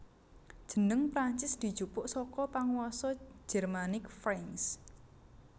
Jeneng Prancis dijupuk saka panguwasa Jermanik Franks